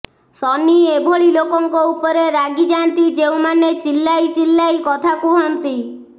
ଶନି ଏଭଳି ଲୋକଙ୍କ ଉପରେ ରାଗିଯାଆନ୍ତି ଯେଉଁମାନେ ଚିଲ୍ଲାଇ ଚିଲ୍ଲାଇ କଥା କୁହନ୍ତି